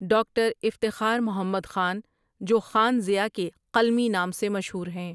Doctor Iftikhar Muhammad Khan جو خان ضیاء کے قلمی نام سے مشہور ہیں ۔